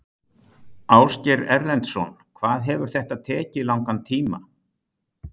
Ásgeir Erlendsson: Hvað hefur þetta tekið langan tíma?